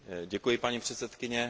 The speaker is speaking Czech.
Děkuji, paní předsedkyně.